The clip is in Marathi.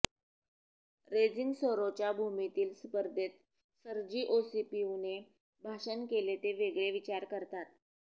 रेजिंग सरोच्या भूमीतील स्पर्धेत सर्जी ओसीपीव्हने भाषण केले ते वेगळे विचार करतात